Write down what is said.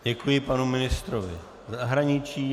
Děkuji panu ministrovi zahraničí.